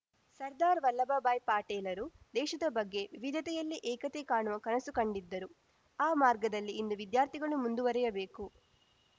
ಸರ್ದಾರ್‌ ವಲ್ಲಭ ಭಾಯ್‌ ಪಾಟೇಲರು ದೇಶದ ಬಗ್ಗೆ ವಿವಿಧತೆಯಲ್ಲಿ ಏಕತೆ ಕಾಣುವ ಕನಸು ಕಂಡಿದ್ದರು ಆ ಮಾರ್ಗದಲ್ಲಿ ಇಂದು ವಿದ್ಯಾರ್ಥಿಗಳು ಮುಂದುವರಿಯಬೇಕು